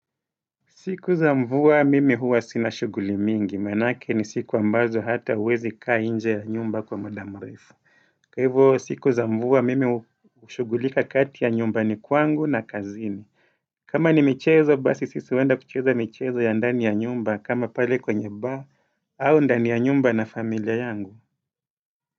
Siku za mvua mimi huwa sina shughuli mingi, maanake ni siku ambazo hata huwezi kaa nje ya nyumba kwa muda mrefu. Kwa hivyo siku za mvua mimi hushughulika kati ya nyumbani kwangu na kazini. Kama ni michezo, basi sisi huenda kucheza michezo ya ndani ya nyumba, kama pale kwenye baa, au ndani ya nyumba na familia yangu.